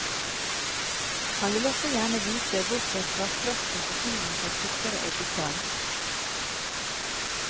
Han vil også gjerne vite hvorfor svarttrosten for tiden får tykkere eggeskall.